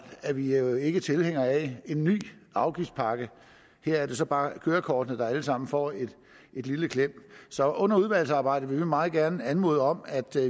er vi jo ikke tilhængere af en ny afgiftspakke her er det så bare kørekortene der alle sammen får et lille klem så under udvalgsarbejdet vil vi meget gerne anmode om at